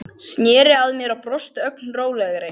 Sneri sér að mér og brosti, ögn rólegri.